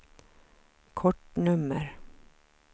kortnummer